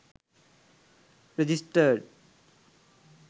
registered